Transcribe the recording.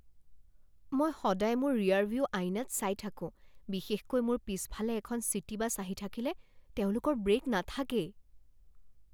মই সদায় মোৰ ৰিয়াৰভিউ আইনাত চাই থাকোঁ, বিশেষকৈ মোৰ পিছফালে এখন চিটি বাছ আহি থাকিলে। তেওঁলোকৰ ব্ৰেক নাথাকেই।